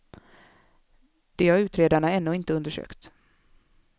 Det har utredarna ännu inte undersökt.